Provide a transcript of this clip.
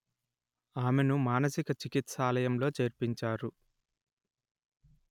ఆమెను మానసిక చికిత్సాలయంలో చేర్పించారు